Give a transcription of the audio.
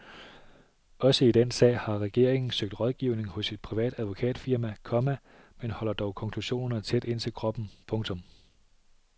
Også i den sag har regeringen søgt rådgivning hos et privat advokatfirma, komma men holder dog konklusionerne tæt ind til kroppen. punktum